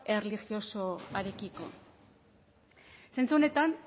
erlijiosoekiko zentzu honetan